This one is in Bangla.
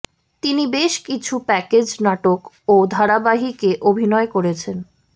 তিনি বেশ কিছু প্যাকেজ নাটক ও ধারাবাহিকে অভিনয় করেছেন